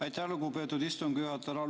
Aitäh, lugupeetud istungi juhataja!